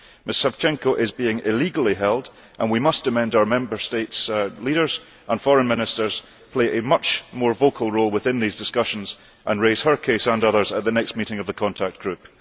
Ms Savchenko is being illegally held and we must urge our Member States' leaders and Foreign Ministers to play a much more vocal role within these discussions and raise her case and others at the next meeting of the contact group.